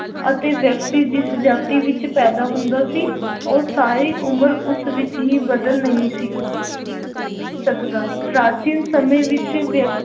ਅਤੇ ਵਿਅਕਤੀ ਜਿਸ ਜਾਤੀ ਵਿੱਚ ਪੈਦਾ ਹੁੰਦਾ ਸੀ ਉਹ ਸਾਰੀ ਉਮਰ ਉਸ ਵਿੱਚ ਹੀ ਬਦਲ ਨਹੀਂ ਸੀ ਸਕਦਾ ਪ੍ਰਾਚੀਨ ਸਮੇਂ ਵਿੱਚ ਵਿਅ~